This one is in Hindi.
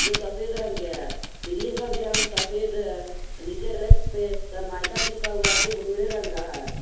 वो सफेद रंग के है सीलिंग का भी रंग सफेद है और नीचे रैक पे सनमाइका चिपका हुआ है जो भूरे रंग का है।